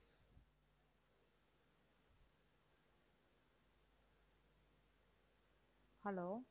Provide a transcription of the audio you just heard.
hello